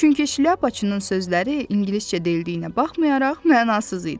Çünki Şlyapaçının sözləri ingiliscə deyilməyinə baxmayaraq mənasız idi.